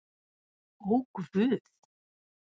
Ó guð!